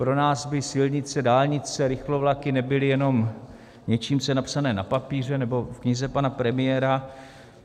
Pro nás by silnice, dálnice, rychlovlaky nebyly jenom něčím, co je napsané na papíře nebo v knize pana premiéra.